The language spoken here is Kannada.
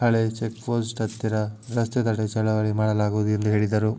ಹಳೆ ಚೆಕ್ಪೋಸ್ಟ್ ಹತ್ತಿರ ರಸ್ತೆ ತಡೆ ಚಳವಳಿ ಮಾಡಲಾಗುವುದು ಎಂದು ಹೇಳಿದರು